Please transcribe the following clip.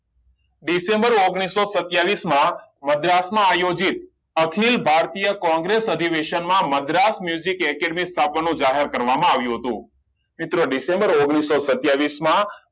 December ઓગણીસો સત્યાવીસ માં મદ્રાસ માં આયોજિત અખિલ ભારતીય કોંગ્રેસ અધિવેશન માં madras music academy છાપા માં જાહેર કરવામાં આવ્યું હતું મિત્રો ડિસેમ્બર ઓગણીસો સત્યાવીસ માં